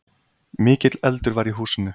Mikill eldur var í húsinu.